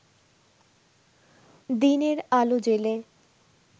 দিনের আলো জ্বেলে